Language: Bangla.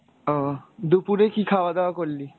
ও দুপুরে কী খাওয়া দাওয়া করলি?